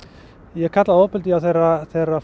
ég kalla það ofbeldi þegar þegar